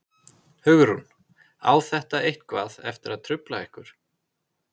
Hugrún: Á þetta eitthvað eftir að trufla ykkur?